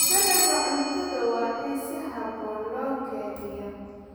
Dalagga cuntada waa in si habboon loo kaydiyaa.